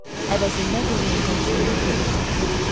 Əvəzində Dorian gəncliyini qoruyub saxlayacaq.